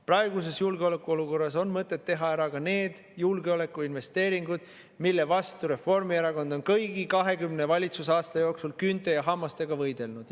Praeguses julgeolekuolukorras on mõtet teha ära ka need julgeolekuinvesteeringud, mille vastu Reformierakond on kõigi 20 valitsusaasta jooksul küünte ja hammastega võidelnud.